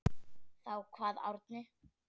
Þá kvað Árni